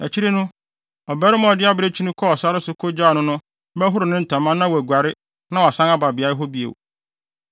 “Akyiri no, ɔbarima a ɔde abirekyi no kɔɔ sare so kogyaa no no bɛhoro ne ntama na waguare na wasan aba beae hɔ bio.